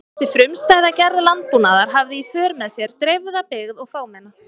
Þessi frumstæða gerð landbúnaðar hafði í för með sér dreifða byggð og fámenna.